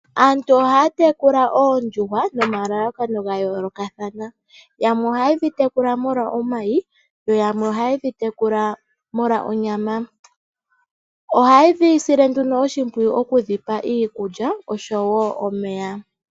Aantu ohaya tekula oondjuhwa nomalakano gayolokathana yamwe ohaye dhi tekula molwa omayi, yo yamwe ohaye dhitekula molwa onyama. Ohaye dhisile nduno oshipwiyu okudhipa iikulya oshowo omeya.